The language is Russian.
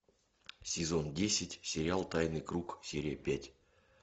сезон десять сериал тайный круг серия пять